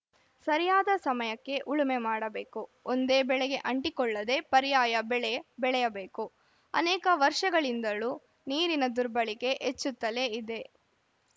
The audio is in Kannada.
ಸರಿಯಾದ ಸಮಯಕ್ಕೆ ಉಳುಮೆ ಮಾಡಬೇಕು ಒಂದೇ ಬೆಳೆಗೆ ಅಂಟಿಕೊಳ್ಳದೇ ಪರ್ಯಾಯ ಬೆಳೆ ಬೆಳೆಯಬೇಕು ಅನೇಕ ವರ್ಷಗಳಿಂದಲೂ ನೀರಿನ ದುರ್ಬಳಿಕೆ ಹೆಚ್ಚುತ್ತಲೇ ಇದೆ